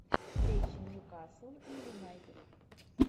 встреча ньюкасл и юнайтед